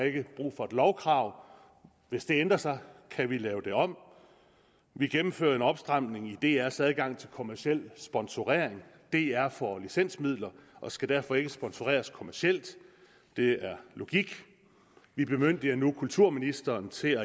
ikke brug for et lovkrav hvis det ændrer sig kan vi lave det om vi gennemfører en opstramning af drs adgang til kommerciel sponsorering dr får licensmidler og skal derfor ikke sponsoreres kommercielt det er logik vi bemyndiger nu kulturministeren til